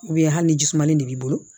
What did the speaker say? hali ni jisumanlen de b'i bolo